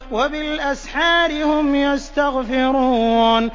وَبِالْأَسْحَارِ هُمْ يَسْتَغْفِرُونَ